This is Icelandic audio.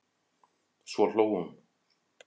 Svo hló hún.